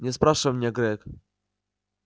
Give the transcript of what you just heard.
не спрашивай меня грег